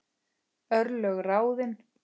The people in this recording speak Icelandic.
Örlög ráðin